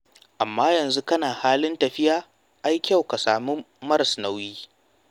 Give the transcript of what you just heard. Amma yanzu kana halin tafiya, ai kyau ka sami maras nauyi.